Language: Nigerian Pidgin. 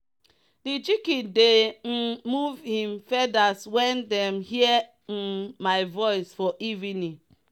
de chicken dey um move him feathers when them hear um my voice for evening.